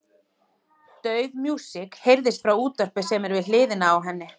Dauf músík heyrist frá útvarpi sem er við hliðina á henni.